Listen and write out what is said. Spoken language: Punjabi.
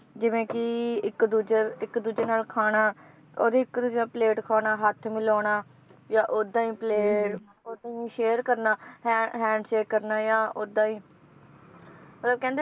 ਜਿਵੇ ਕਿ ਇੱਕ ਦੂਜੇ ਇੱਕ ਦੂਜੇ ਨਾਲ ਖਾਣਾ, ਓਹਦੀ ਇੱਕ ਦੂਜੇ ਦਾ plate ਖਾਣਾ, ਹੱਥ ਮਿਲਾਉਣਾ, ਜਾਂ ਓਦਾਂ ਹੀ ਪਲੇ~ ਓਦਾਂ ਹੀ share ਕਰਨਾ, ਹੈ~ handshake ਕਰਨਾ ਜਾਂ ਓਦਾਂ ਹੀ ਮਤਲਬ ਕਹਿੰਦੇ